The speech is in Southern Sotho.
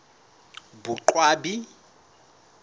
boqwabi